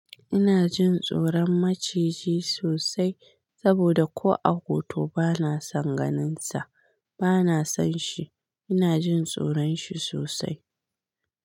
Ina jin tsoron maciji sosai saboda ko a hoto bana son ganinsa, bana son shi. Ina jin tsoron shi sosai.